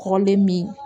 Kɔrɔlen min